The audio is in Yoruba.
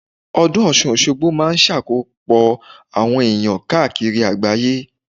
Ọdún Ọ̀sun-Òsogbo máa ń sàkójọ àwọn èèyàn káàkiri àgbáyé